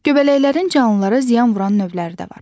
Göbələklərin canlılara ziyan vuran növləri də var.